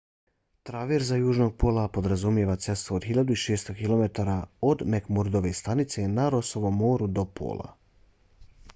traverza južnog pola podrazumijeva cestu od 1600 km od mcmurdove stanice na rossovom moru do pola